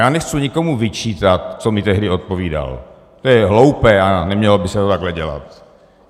Já nechci nikomu vyčítat, co mi tehdy odpovídal, to je hloupé a nemělo by se to takhle dělat.